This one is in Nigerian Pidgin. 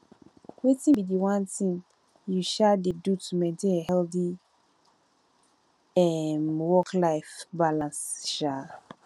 wetin be di one thing you um dey do to maintain a healthy um worklife balance um